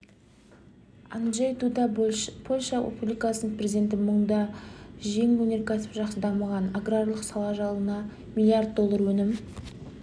анджей дуда польша республикасының президенті мұнда жеңіл өнеркәсіп жақсы дамыған аграрлық сала жылына млрд доллар өнім